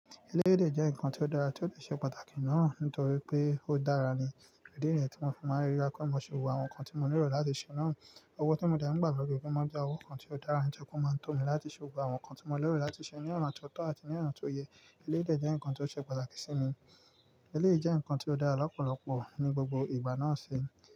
Elédè jẹ́ ǹkan tó dára tí ó ṣe pàtàkì náà nítorí pé ó dára ni. Ìdí ni tí mo máa ń fi ríra kó mo ṣe wù àwọn ǹkan tí mo nílò láti ṣe náà. Òwò tí mo dà mí pà lọjoojumo ń jẹ́ owo kan tí ó dára ń jẹ kó máa ń tò mí láti ṣe wù àwọn ǹkan tí mo nílò láti ṣe ní ọ̀nà tó tọ́ àti ní ọ̀nà tó yẹ. Eléyii dè jẹ́ ǹkan tó ṣe pàtàkì sí mi. Eléyii jẹ́ ǹkan tí ó dára lọ́pọ̀lọpọ̀ ní gbogbo ìgbà náà ṣe.